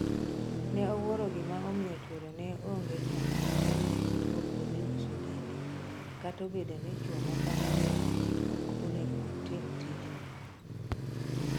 Ne owuoro gima omiyo chuore ne onge chandruok ka ne owuok odhi uso dende kata obedo ni chuo moko ne neno ok onego otim tijno.